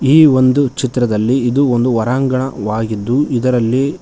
ಈ ಒಂದು ಚಿತ್ರದಲ್ಲಿ ಇದು ಒಂದು ಹೊರಾಂಗಣವಾಗಿದ್ದು ಇದರಲ್ಲಿ--